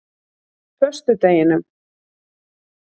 föstudeginum